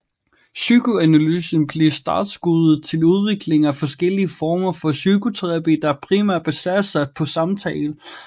Psykoanalysen blev startskuddet til udviklingen af forskellige former for psykoterapi der primært baserede sig på samtale